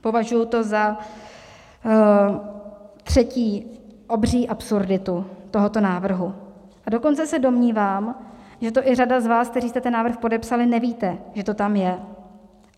Považuji to za třetí obří absurditu tohoto návrhu, a dokonce se domnívám, že to i řada z vás, kteří jste ten návrh podepsali, nevíte, že to tam je.